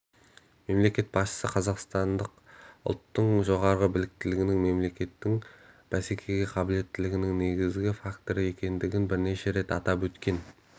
мемлекет басшысы қазақстандық ұлттың жоғары біліктілігінің мемлекеттің бәсекеге қабілеттілігінің негізгі факторы екендігін бірнеше рет атап өткен